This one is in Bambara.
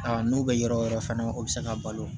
Aa n'o bɛ yɔrɔ wɛrɛ fana o bɛ se ka balo